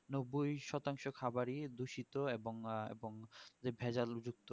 নব্বই শতাংশই খাবারই দূষিত এবং হ্যাঁ এবং যে ভেজাল যুক্ত